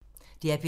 DR P3